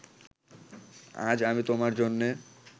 আজ আমি তোমার জন্যে